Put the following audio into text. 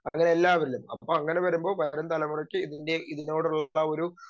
speaker 2 അങ്ങനെ എല്ലാവരിലും അപ്പോ അങ്ങനെ വരുമ്പോ വരും തലമുറയ്ക്ക് ഇതിൻറെ ഇതിനോടുള്ളൊരു